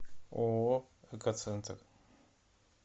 ооо экоцентр